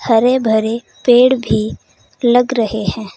हरे भरे पेड़ भी लग रहे हैं।